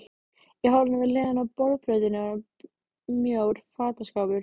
Í horninu við hliðina á borðplötunni var mjór fataskápur.